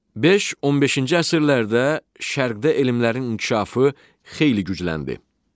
Beş 15-ci əsrlərdə Şərqdə elmlərin inkişafı xeyli gücləndi.